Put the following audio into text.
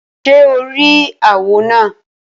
Ṣé o rí àwọ̀ náà?